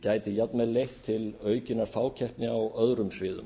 gæti jafnvel leitt til aukinnar fákeppni á öðrum sviðum